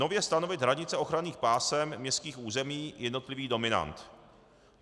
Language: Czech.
nově stanovit hranice ochranných pásem městských území jednotlivých dominant.